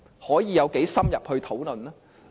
可以有多深入討論呢？